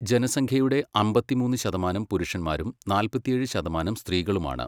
ജനസംഖ്യയുടെ അമ്പത്തിമൂന്ന് ശതമാനം പുരുഷന്മാരും നാല്പത്തിയേഴ് ശതമാനം സ്ത്രീകളുമാണ്.